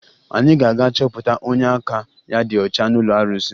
Anyị ga-aga chọpụta onye aka ya dị ọcha n'ụlọ arụsị